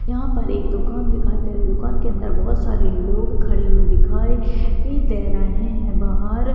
यहाँ पर एक दुकान दिखाई दे रही है दुकान के अंदर बहुत सारे लोग खड़े हुए दिखाई दे रहे है बाहर--